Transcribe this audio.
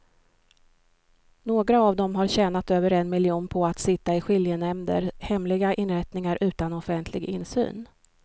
Några av dem har tjänat över en miljon på att sitta i skiljenämnder, hemliga inrättningar utan offentlig insyn.